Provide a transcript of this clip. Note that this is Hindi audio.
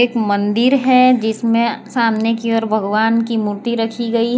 मंदिर है जिसमें सामने की और भगवान की मूर्ति रखी गई है।